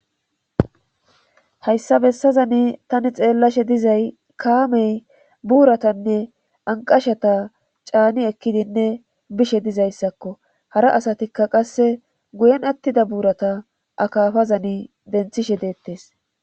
hayssa bessazani tani xeellashe dizay kaamey buuratanne anqashata caani ekkidinne bishe dizayssakko hara asatikka qasse guyen attida buurata akafazani denthishe deettes